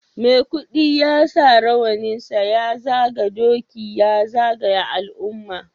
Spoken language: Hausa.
Maikudi ya sa rawaninsa ya zaga doki ya zagaya al'umma